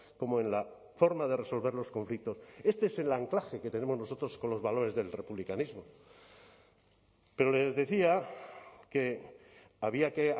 como en la forma de resolver los conflictos este es el anclaje que tenemos nosotros con los valores del republicanismo pero les decía que había que